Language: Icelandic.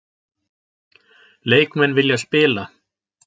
Leikmenn vilja spila